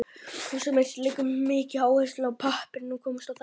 Húsameistari leggur mikla áherslu á að pappinn komist á þakið.